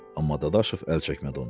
Amma Dadaşov əl çəkmədi ondan.